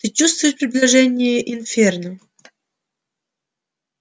ты чувствуешь приближение инферно